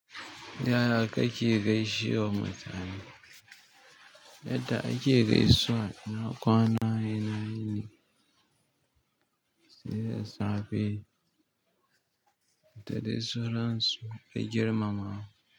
Ta ya kake gaishe wa mutane, yadda ake gaisuwa na kwana ina yini sai da safe, da dai sauran su ta girmamawa.